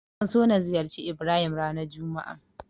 Zan so na ziyarci Ibrahim ranar juma'a.